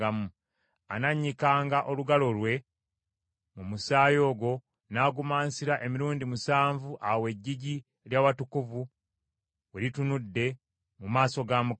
Anannyikanga olugalo lwe mu musaayi ogwo n’agumansira emirundi musanvu awo eggigi ly’awatukuvu we litunudde mu maaso ga Mukama .